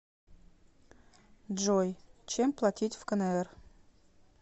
джой чем платить в кнр